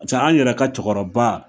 Pase an yɛrɛ ka cɛkɔrɔba